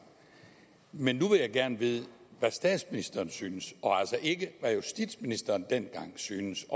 men nu vil jeg gerne vide hvad statsministeren synes og altså ikke hvad justitsministeren dengang syntes